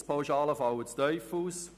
Die Bundespauschalen fallen zu tief aus.